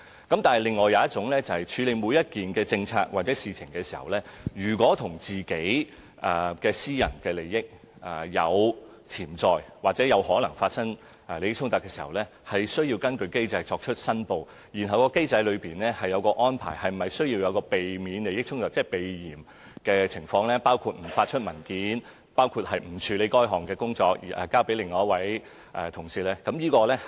但是，另一種申報是處理每件政策或事情的時候，如果與私人利益有潛在或可能出現利益衝突，他們是需要根據機制申報，而機制當中，對是否需要避免利益衝突設有安排，即關乎避嫌的情況，包括不發出文件、不處理該項工作而交由其他同事處理。